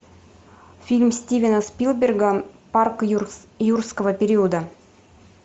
фильм стивена спилберга парк юрского периода